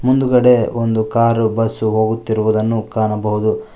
ಮುಂದುಗಡೆ ಒಂದು car bus ಹೋಗುತ್ತಿರುವುದನ್ನು ಕಾಣಬಹುದು.